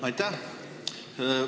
Aitäh!